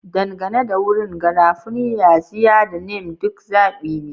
Dangane da wurin, garafuni, yaxiya, da neem duk zaɓi ne.